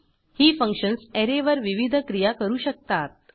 ही functions array वर विविध क्रिया करू शकतात